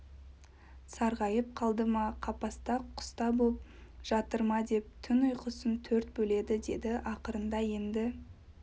сарғайып қалды ма қапаста құста боп жатыр ма деп түн ұйқысын төрт бөледі деді ақырында енді